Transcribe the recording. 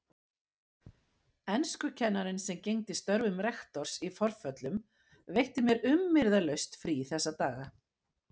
Enskukennarinn sem gegndi störfum rektors í forföllum veitti mér umyrðalaust frí þessa daga.